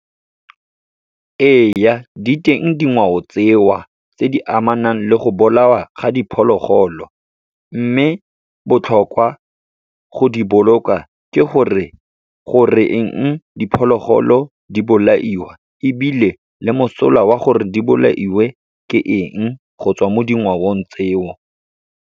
Ee, diteng dingwao tseo, tse di amanang le go bolawa ga diphologolo. Mme, botlhokwa go di boloka, ke gore goreng e diphologolo di bolaiwa ebile le mosola wa gore di bolailwe ke eng go tswa mo dingwaong tseo.